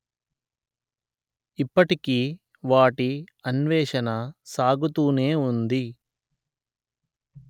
ఇప్పటికీ వాటి అన్వేషణ సాగుతూనే ఉంది